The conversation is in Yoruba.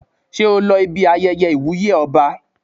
Ṣé o lọ ibi ayẹyẹ ìwúyè ọba?